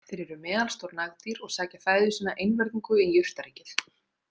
Þeir eru meðalstór nagdýr og sækja fæðu sína einvörðungu í jurtaríkið.